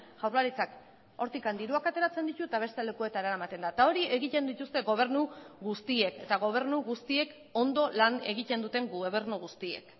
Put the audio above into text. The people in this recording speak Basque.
jaurlaritzak hortik diruak ateratzen ditu eta beste lekuetara eramaten da eta hori egiten dituzte gobernu guztiek eta gobernu guztiek ondo lan egiten duten gobernu guztiek